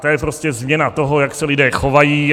To je prostě změna toho, jak se lidé chovají.